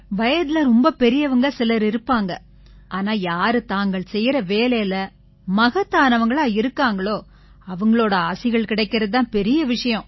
வயதில ரொம்ப பெரியவங்க சிலர் இருப்பாங்க ஆனா யாரு தாங்கள் செய்யற வேலையில மகத்தானவங்களா இருக்காங்களோ அவங்களோட ஆசிகள் கிடைக்கறது தான் பெரிய விஷயம்